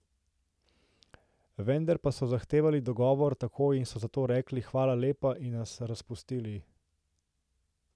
Vendar pa so zahtevali dogovor takoj in so zato rekli, hvala lepa, in nas razpustili.